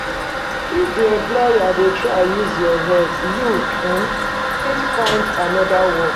If di employer dey try use your head, you fit find anoda work